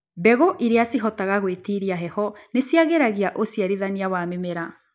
Mbegũ iria cihotaga gwĩtiria heho nĩciagĩragia ũciarithania wa mĩmera.